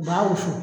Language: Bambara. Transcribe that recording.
U b'a wusu